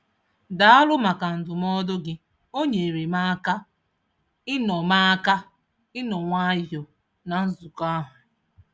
Daalụ maka ndụmọdụ gị, o nyeere m aka ịnọ m aka ịnọ nwayọọ na nzukọ ahụ.